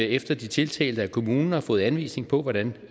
efter at de tiltalte af kommunen har fået anvisninger på hvordan